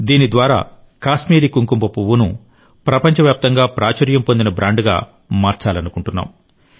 దీని ద్వారా కాశ్మీరీ కుంకుమ పువ్వును ప్రపంచవ్యాప్తంగా ప్రాచుర్యం పొందిన బ్రాండ్గా మార్చాలనుకుంటున్నాం